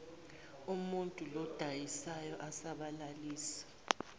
umuntul oyodayisa asabalalise